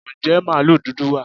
Ǹjẹ́ màlúù dúdú wà?